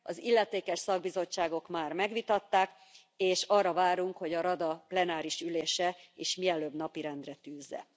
Az illetékes szakbizottságok már megvitatták és arra várunk, hogy a Rada plenáris ülése is mielőbb napirendre tűzze.